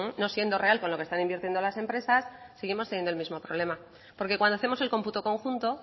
no siendo real con lo que están invirtiendo las empresas seguimos teniendo el mismo problema porque cuando hacemos el computo conjunto